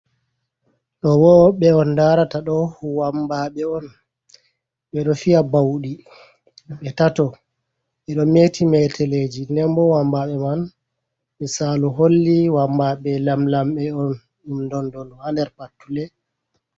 Ɗoo boo ɓe on ndaarata ɗoo wammbaaɓe on, ɓe ɗo fiya bawɗi. Ɓe tato, ɗi ɗo meeti meeteleeji. Nden boo wammbaaɓe man misaalu holli ɗum wammbaaɓe lamlamɓe on. Ɗum ndonndonu ha nder pattule.